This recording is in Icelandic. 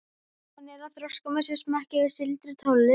Símon er að þroska með sér smekk fyrir sígildri tónlist.